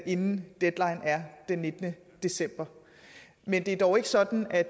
inden deadline den nittende december men det er dog ikke sådan at